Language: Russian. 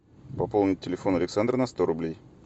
пополнить телефон александра на сто рублей